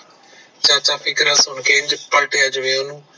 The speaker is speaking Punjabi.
ਚਾਚਾ ਫਿਕਰ ਸੁਨ ਕੇ ਇੰਜ ਪਲਟਿਆ ਜਿਵੇ ਓਹਨੂੰ